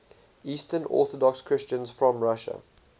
eastern orthodox christians from russia